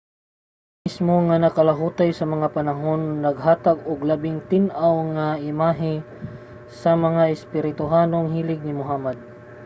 ang langob mismo nga nakalahutay sa mga panahon naghatag og labing tin-aw nga imahe sa mga espirituhanong hilig ni muhammad